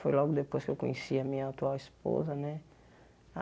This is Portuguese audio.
Foi logo depois que eu conheci a minha atual esposa né.